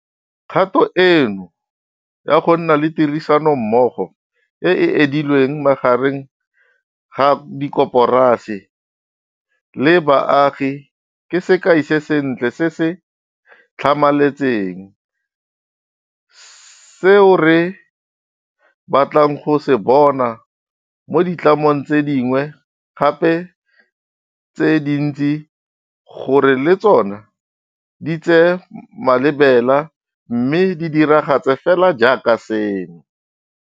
Kgato eno ya gonna le tirisanommogo e e edileng magareng ga dikoporasi le baagi ke sekai se sentle se se tlhamaletseng seo re batlang go se bona mo ditlamong tse dingwe gape tse dintsi gore le tsona di tsee malebela mme di diragatse fela jaaka seno.